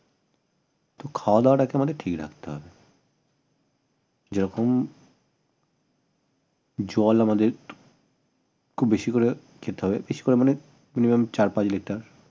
খাওয়া দাওয়াটা ঠিক রাখতে হবে যেরকম জল আমাদের খুব বেশি করে খেতে হবে বেশি করে মানে minimum চার্ পাঁচ লিটার